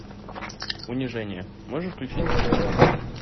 унижение можешь включить